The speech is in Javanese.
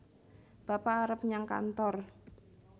bapak arep nyang kantor